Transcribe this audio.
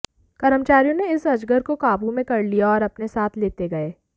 कर्मचारियों ने इस अजगर को काबू में कर लिया और अपने साथ लेते गये